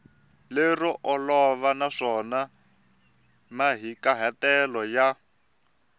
lero olova naswona mahikahatelo ya